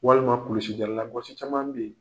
Walima kulusi jala laɔgsi caman bɛ yen.